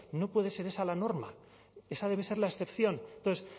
no puede ser esa la norma esa debe ser la excepción entonces